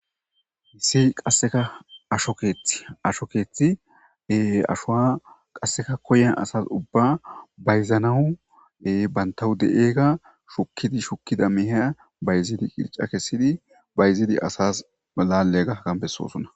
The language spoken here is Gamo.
Issi qasseka ashokeet asho keethie ashowa qasseka koyen asas ubba bayzanahue bantahu de7eega shukkidi shukkida miheya bayziili qirca kessidi bayzili asas laallega kambesosona.